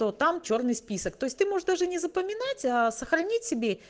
то там чёрный список то есть ты можешь даже не запоминать а сохранить себе